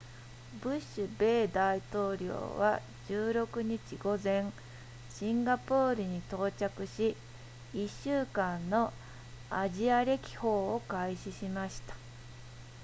ブッシュ米大統領は16日午前シンガポールに到着し１週間のアジア歴訪を開始しました